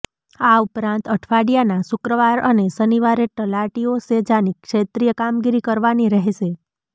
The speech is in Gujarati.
આ ઉપરાંત અઠવાડિયાના શુક્રવાર અને શનિવારે તલાટીઓ સેજાની ક્ષેત્રિય કામગીરી કરવાની રહેશે